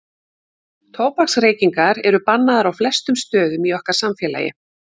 Tóbaksreykingar eru bannaðar á flestum stöðum í okkar samfélagi.